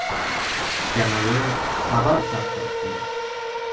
kanali xabar tarqatdi .